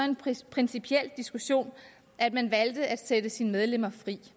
principiel diskussion at man valgte at sætte sine medlemmer frit